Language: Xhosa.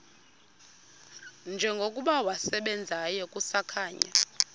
njengokuba wasebenzayo kusakhanya